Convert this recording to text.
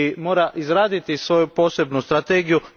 mora izraditi svoju posebnu strategiju.